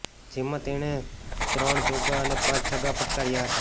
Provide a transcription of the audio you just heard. જેમાં તેણે ત્રણ ચોગ્ગા અને પાંચ છગ્ગા ફટકાર્યા હતા